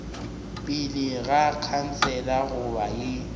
pele ga khansele goba ye